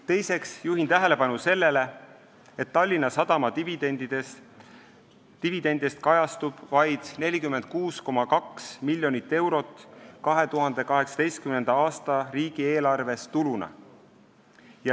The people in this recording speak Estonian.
Teiseks juhin tähelepanu sellele, et Tallinna Sadama dividendidest kajastub 2018. aasta riigieelarves tuluna vaid 46,2 miljonit eurot.